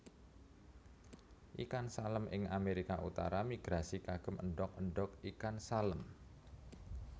Ikan Salem ing Amerika utara migrasi kagem endog endog ikan salem